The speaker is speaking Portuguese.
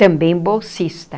Também bolsista.